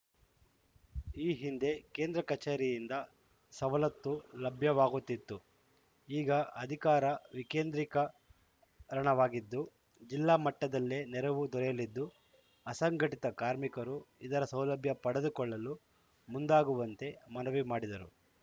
ಈ ಹಿಂದೆ ಕೇಂದ್ರ ಕಚೇರಿಯಿಂದ ಸವಲತ್ತು ಲಭ್ಯವಾಗುತ್ತಿತ್ತು ಈಗ ಅಧಿಕಾರ ವಿಕೇಂದ್ರೀಕ ರಣವಾಗಿದ್ದು ಜಿಲ್ಲಾಮಟ್ಟದಲ್ಲೇ ನೆರವು ದೊರೆಯಲಿದ್ದು ಅಸಂಘಟಿತ ಕಾರ್ಮಿಕರು ಇದರ ಸೌಲಭ್ಯ ಪಡೆದುಕೊಳ್ಳಲು ಮುಂದಾಗುವಂತೆ ಮನವಿ ಮಾಡಿದರು